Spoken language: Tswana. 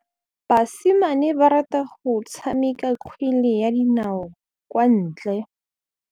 Basimane ba rata go tshameka kgwele ya dinaô kwa ntle.